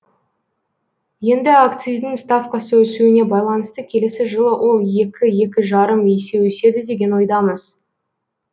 енді акциздің ставкасы өсуіне байланысты келесі жылы ол екі екі жарым есе өседі деген ойдамыз